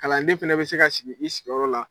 Kalanden fana bɛ se ka sigi i sigiyɔrɔ la